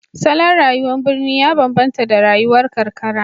Salon rayuwar birni ya bambanta da rayuwar karkara